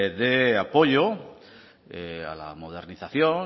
de apoyo a la modernización